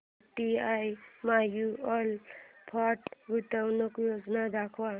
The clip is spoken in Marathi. यूटीआय म्यूचुअल फंड गुंतवणूक योजना दाखव